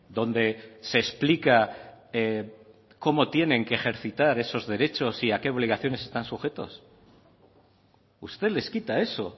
donde se explica cómo tienen que ejercitar esos derechos y a qué obligaciones están sujetos usted les quita eso